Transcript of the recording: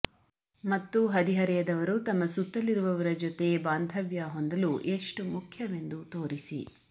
ಮತ್ತು ಹದಿಹರೆಯದವರು ತಮ್ಮ ಸುತ್ತಲಿರುವವರ ಜೊತೆ ಬಾಂಧವ್ಯ ಹೊಂದಲು ಎಷ್ಟು ಮುಖ್ಯವೆಂದು ತೋರಿಸಿ